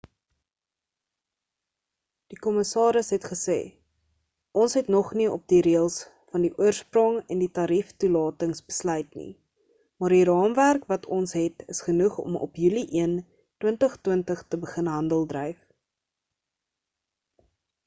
die kommissaris het gesê ons het nog nie op die reëls van die oorsprong en die tarief toelatings besluit nie maar die raamwerk wat ons het is genoeg om op julie 1 2020 te begin handeldryf